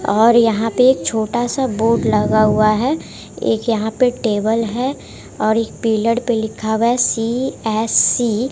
और यहां पे एक छोटा सा बोर्ड लगा हुआ है एक यहां पे टेबल है और एक पिलर पे लिखा हुआ है सी_एस_सी ।